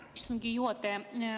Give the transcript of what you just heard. Aitäh, istungi juhataja!